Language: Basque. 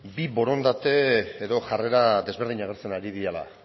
bi borondate edo jarrera ezberdinak agertzen ari direla